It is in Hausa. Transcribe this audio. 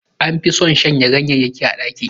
An fi son shanya ganyayyakin a ɗaki